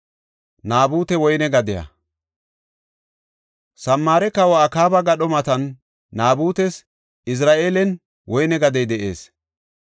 Samaare Kawa Akaaba gadho matan Naabutes Izira7eelen woyne gadey de7ees.